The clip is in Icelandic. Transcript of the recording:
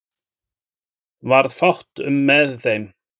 Varð fátt um með þeim